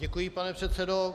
Děkuji, pane předsedo.